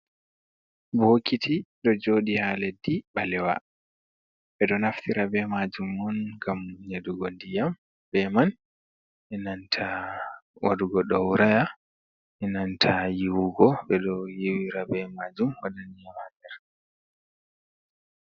Bookiti, ɗo jooɗi ha leddi ɓalewa, ɓe ɗo naftira be maajum on ngam nyeɗugo ndiyam be man, enanta waɗugo ɗawraya, enanta yiiwugo, ɓe ɗo yiiwira be maajum, waɗan ndiyam ha nder.